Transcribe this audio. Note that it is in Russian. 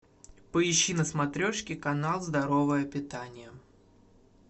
поищи на смотрешке канал здоровое питание